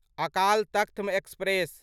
Akal Takht express